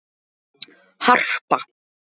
Harpa